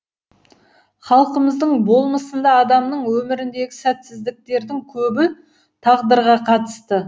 халқымыздың болмысында адамның өміріндегі сәтсіздіктердің көбі тағдырға қатысты